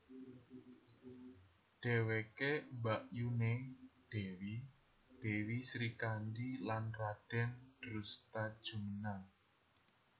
Dheweke mbakyuné Dèwi Dèwi Srikandhi lan Radèn Drustajumena